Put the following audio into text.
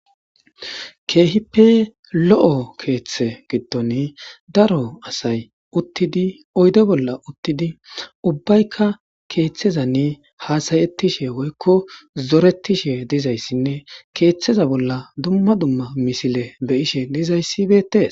keehippe lo7o keeththe gidon daro asay uttidi oyde bolla uttidi ubbaykka keeththezanni haasayettishe woykko zoretishe dizayssinne keeththeza bolla dumma dumma misile beyishe dizayssi beettee